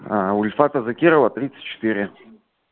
сульфаты закирова тридцать четыре